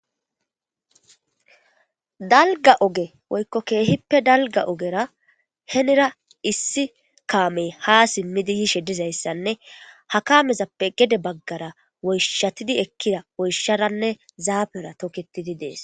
Dalgga ogen woykko keehippe dalgga ogeraa, henira issi kaamee haa simmiddi biyshe de'iza issanne, ha kamezappe gede baggara woyshshati eqqida woykko sharanne zaafira tokkettidi de'ees.